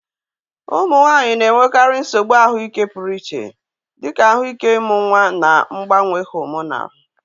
Ụmụ nwanyị na-enwekarị nsogbu ahụike pụrụ iche, dị ka ahụike ịmụ nwa na mgbanwe hormonal